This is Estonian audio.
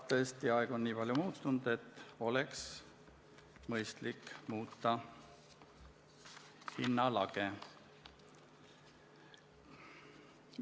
Tõesti, aeg on nii palju muutunud, et oleks mõistlik muuta hinnalage.